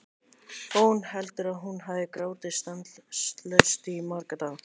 Og hún heldur að hún hafi grátið stanslaust í marga daga.